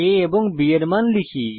a এবং b এর মান লিখি